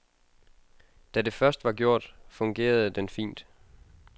Da det først var gjort, fungerede den fint.